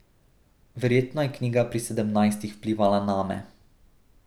Verjetno je knjiga pri sedemnajstih vplivala name.